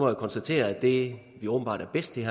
jeg konstatere at det vi åbenbart er bedst til